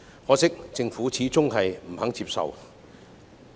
可惜，政府始終不肯接受。